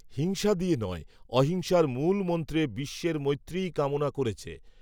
হিংসা দিয়ে নয় অহিংসার মূল মন্ত্রে বিশ্বের মৈত্রীই কামনা করেছে